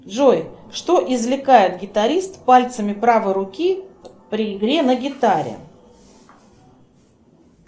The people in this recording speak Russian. джой что извлекает гитарист пальцами правой руки при игре на гитаре